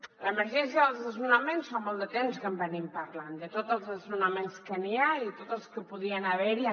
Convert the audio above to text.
de l’emergència dels desnonaments fa molt de temps que en parlem de tots els desnonaments que hi ha i tots els que podien haver·hi